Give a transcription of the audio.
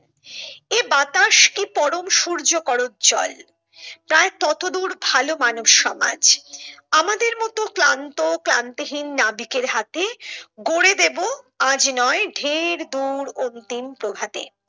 এ বাতাস কি পরম সূর্য করোজ্জ্ল তার ততদূর ভালো মানুষ সমাজ আমাদের মতো ক্লান্ত ক্লান্তিহীন নাবিকের হাতে গড়ে দেব আজ নয় ঢের দূর অন্তিম প্রভাতে।